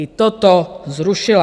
I toto zrušila.